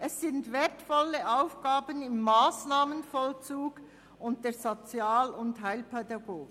Es sind wertvolle Aufgaben im Massnahmenvollzug und der Sozial- und Heilpädagogik.